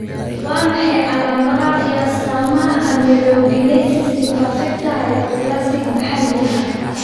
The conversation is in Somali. Waa maxay calaamadaha iyo astaamaha Amelogenesis imperfecta hypoplastic maxalli ah?